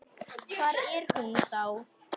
Hvar er hún þá?